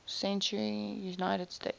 century united states